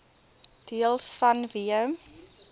deels vanweë